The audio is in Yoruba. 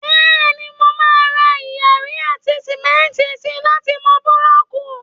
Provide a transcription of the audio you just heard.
Bẹ́ẹ̀ni, mo máà ra iyanrìn àti sìmẹ́ntì si láti mọ búlọ̀kù